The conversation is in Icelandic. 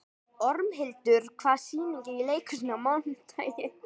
Ormhildur, hvaða sýningar eru í leikhúsinu á mánudaginn?